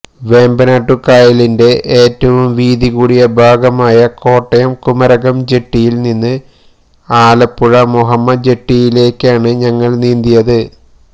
വേമ്പനാട്ടുകായലിന്റെ ഏറ്റവും വീതി കൂടിയ ഭാഗമായ കോട്ടയം കുമരകം ജെട്ടിയില് നിന്ന് ആലപ്പുഴ മുഹമ്മ ജെട്ടിയിലേക്കാണ് ഞങ്ങള് നീന്തിയത്